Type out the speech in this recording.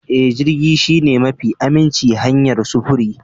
Ee, jirgi shine mafi aminci hanyar sufuri.